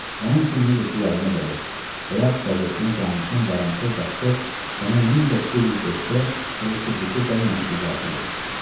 Onun üçün necə ki, yadıma gəlir, Həyat qəzetinə canişin Varançov Daşkov sənə 1905-də hələ Tiflisə gəlməmiş icazə vermişdi.